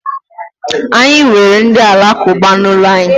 Anyị nwere ndị alakụba n'ụlọ anyị.